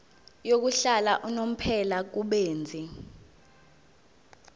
yokuhlala unomphela kubenzi